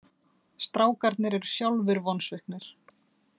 Strákarnir eru sjálfir vonsviknir